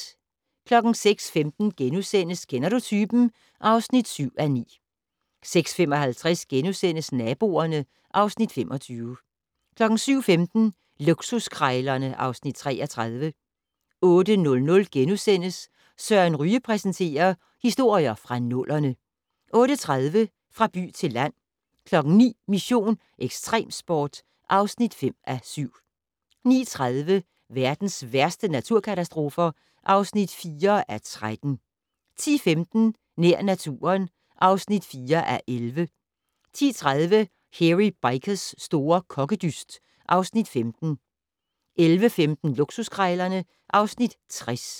06:15: Kender du typen? (7:9)* 06:55: Naboerne (Afs. 25)* 07:15: Luksuskrejlerne (Afs. 33) 08:00: Søren Ryge præsenterer: Historier fra nullerne * 08:30: Fra by til land 09:00: Mission: Ekstremsport (5:7) 09:30: Verdens værste naturkatastrofer (4:13) 10:15: Nær naturen (4:11) 10:30: Hairy Bikers' store kokkedyst (Afs. 15) 11:15: Luksuskrejlerne (Afs. 60)